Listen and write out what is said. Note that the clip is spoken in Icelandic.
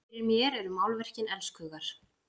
Fyrir mér eru málverkin elskhugar!